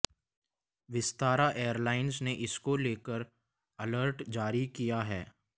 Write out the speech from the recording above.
Vistara airlines ने इसको लेकर अलर्ट जारी किया है